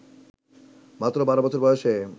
মাত্র ১২ বছর বয়সে